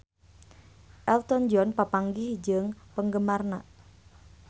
Elton John papanggih jeung penggemarna